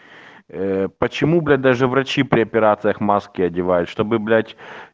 э почему блять даже врачи при операциях маски одевают чтобы блять